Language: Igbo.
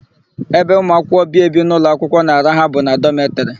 Ebe ụmụakwụkwọ bi ebi n'ụlọakwụkwọ na-araha bụ na dọmetịrị.